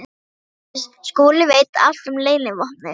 SOPHUS: Skúli veit allt um leynivopnið.